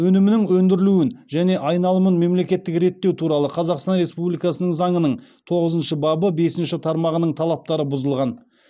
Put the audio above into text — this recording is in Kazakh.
өнімінің өндірілуін және айналымын мемлекеттік реттеу туралы қазақстан республикасының заңының тоғызыншы бабы бесінші тармағының талаптары бұзылған